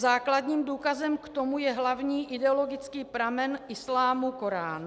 Základním důkazem k tomu je hlavní ideologický pramen islámu - Korán.